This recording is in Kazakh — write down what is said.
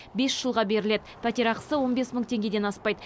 бес жылға беріледі пәтерақысы он бес мың теңгеден аспайды